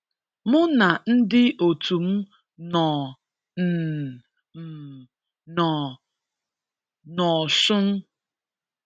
Mụ na ndị òtù m nọ n' m nọ n' Osun.